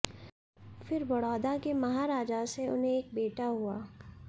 फिर बड़ौदा के महाराजा से उन्हें एक बेटा हुआ